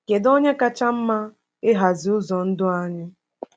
Kedu oge kacha mma ịhazi ụzọ ndụ anyị?